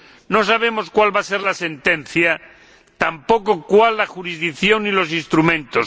No sabemos cuál va a ser la sentencia, tampoco cuáles la jurisdicción y los instrumentos.